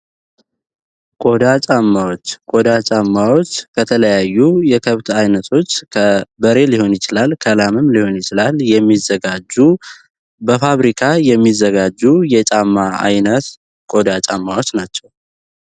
ቆዳ ጫማዎች ወደ ጫማዎች በተለያዩ የከብት አይነቶች ከበሬ ሊሆን ይችላል ከላምም ሊሆን ይችላል የሚዘጋጁ በፋብሪካ የሚዘጋጁ የጫማ ዓይነት ቆዳ ጫማዎች ናቸው